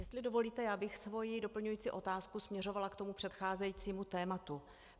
Jestli dovolíte, já bych svoji doplňující otázku směřovala k tomu předcházejícímu tématu.